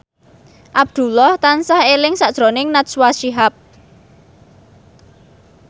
Abdullah tansah eling sakjroning Najwa Shihab